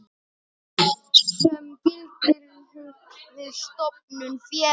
sem gildir við stofnun félags.